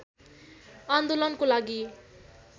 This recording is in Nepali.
आन्दोलनको लागि